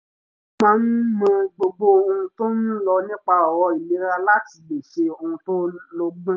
ó máa ń mọ gbogbo ohun tó ń lọ nípa ọ̀rọ̀ ìlera láti lè ṣe ohun tó lọ́gbọ́n